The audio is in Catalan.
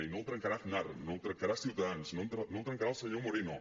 i no el trencarà aznar no el trencarà ciutadans no el trencarà el senyor moreno